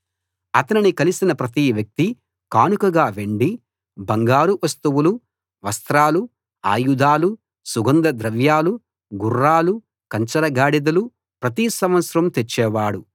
అతనిని కలిసిన ప్రతి వ్యక్తీ కానుకగా వెండి బంగారు వస్తువులు వస్త్రాలు ఆయుధాలు సుగంధ ద్రవ్యాలు గుర్రాలు కంచరగాడిదలు ప్రతి సంవత్సరం తెచ్చేవాడు